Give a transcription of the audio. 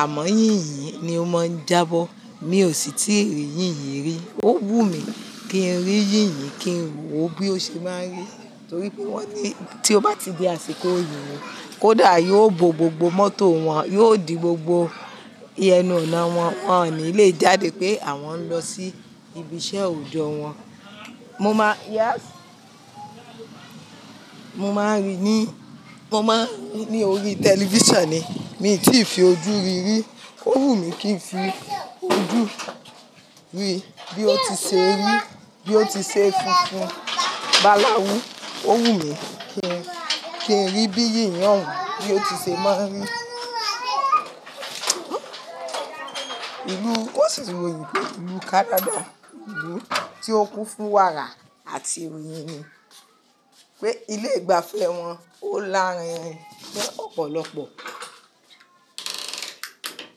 àmọ́ yìnyín ni ó máa ń jábọ̀. Mi ò sì tíì rí yìnyín rí. Ó wù mí kí n rí yìnyín, kí n wò ó bí ó ṣe máa ń rí, torí pé wọ́n ní tí o bá di àsìkò yinyin, kódà yóò bo gbogbo mọ́tò wọn, yóò di gbogbo ẹnu ọ̀nà wọn, wọ́n ò ní le jáde pé àwọn ń lọ sí ibi iṣẹ́ òjò wọn. Mo máa, yes, mo máa ń rí i ní, mo máa ń rí i ní orí tẹlifísàn ni, mi tì í fi ojú ri rí. Ó wù mí kí n fi ojú mi rí bí ó ti ṣe rí, bí ó ti ṣe funfun báláwù. Ó wù mí kí n, kí n rí bí yìnyín ohun bí ó ti ṣe máa ń rí. Ìlú, wọ́n sì royin pé ìlú Canada, ìlú tí ó kún fún wàrà àti oyìn ni, pé ilé ìgbafẹ́ wọn ó láárín rin pẹ́ ọ̀pọ̀lọpọ̀.